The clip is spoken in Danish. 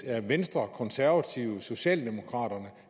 er venstre konservative socialdemokraterne